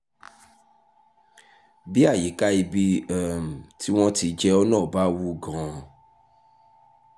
bí àyíká ibi um tí wọ́n ti jẹ ọ́ náà bá wú gan - an